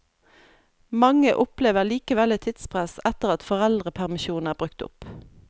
Mange opplever likevel et tidspress etter at foreldrepermisjonen er brukt opp.